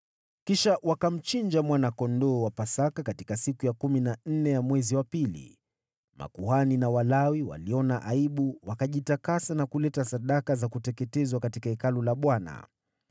Kisha wakamchinja mwana-kondoo wa Pasaka katika siku ya kumi na nne ya mwezi wa pili. Makuhani na Walawi waliona aibu, wakajitakasa na kuleta sadaka za kuteketezwa katika Hekalu la Bwana .